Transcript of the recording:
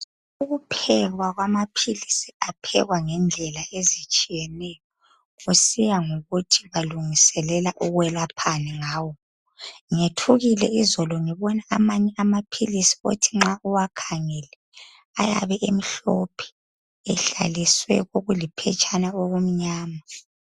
Ukuphekwa ngamaphilisi kwenziwa ngendlela ezitshiyeneyo kusiya ngokuthi alungiselwa ukwelaphani ngawo. Ngethukile izolo ngibona amanye amaphilisi othi nxa uwakhangele ayabe emhlophe ehlaliswe okuliphetshana okumnyama.